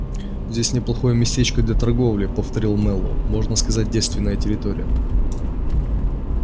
здесь неплохое местечко для торговли повторил мэллоу можно сказать девственная территория